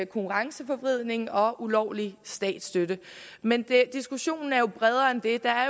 konkurrenceforvridning og ulovlig statsstøtte men diskussionen er bredere end det der